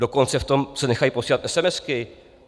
Dokonce v tom se nechají posílat esemesky.